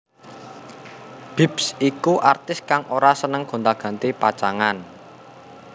Bips iku artis kang ora seneng gonta ganti pacangan